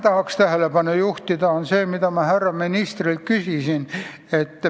Tahan tähelepanu juhtida ühele asjale, mida ma ka härra ministrilt küsisin.